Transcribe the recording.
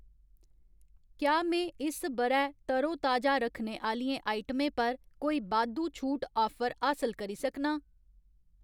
क्या में इस ब'रै तरोताजा रक्खने आह्‌लियें आइटमें पर कोई बाद्धू छूट आफर हासल करी सकनां?